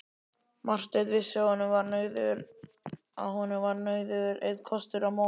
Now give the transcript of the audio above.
Marteinn vissi að honum var nauðugur einn kostur að moka.